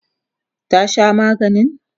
ta Sha maganin?